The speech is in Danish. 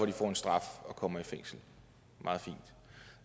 de får en straf og kommer i fængsel meget fint